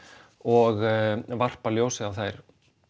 og varpa ljósi á þær